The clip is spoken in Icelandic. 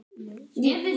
Þekkti ég fleiri hér?